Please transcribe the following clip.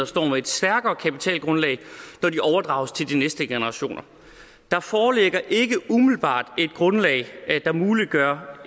står med et stærkere kapitalgrundlag når de overdrages til de næste generationer der foreligger ikke umiddelbart et grundlag der muliggør